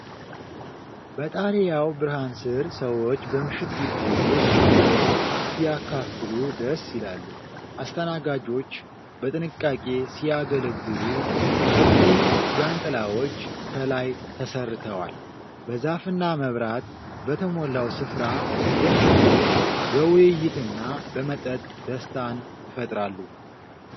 በጣሪያው ብርሃን ስር ሰዎች በምሽት ግቢ ውስጥ ፍቅርን ሲያካፍሉ ደስ ይላሉ። አስተናጋጆች በጥንቃቄ ሲያገለግሉ፣ ሰፊ ዣንጥላዎች ከላይ ተሰርተዋል። በዛፍና መብራት በተሞላው ስፍራ ደንበኞች በውይይትና በመጠጥ ደስታን ይፈጥራሉ።